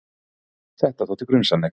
Þetta þótti grunsamlegt.